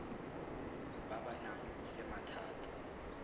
ba ba nang le mathata